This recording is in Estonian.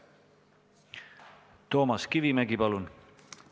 Toomas Kivimägi, palun!